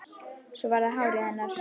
Svo var það hárið hennar.